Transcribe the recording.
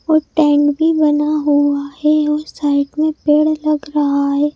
और टेंट भी बना हुआ है और साइड में पेड़ लग रहा है।